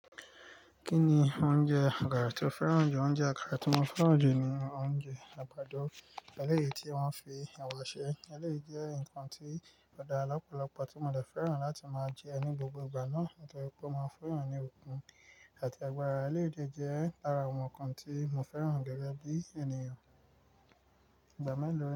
Kí ni oúnjẹ àkàrà tó fẹ́ràn ju? Oúnjẹ àkàrà tí mo fẹ́ràn oúnjẹ ni oúnjẹ àgbàdo, eléyìí tí wọ́n fi ìwà ṣe. Eléyìí jẹ́ nǹkan tí ọ̀ dàra lọ́pọ̀lọpọ̀ tí mo dè fẹ́ràn láti máa jẹ ní gbogbo ìgbà náà, torí pé o mo funyan ní okùn àti ẹgbàárá eléyìí de jẹ́ lára àwọn nǹkan tí mo fẹ́ràn gẹ́gẹ́ bí ènìyàn. Ìgbà mélòó.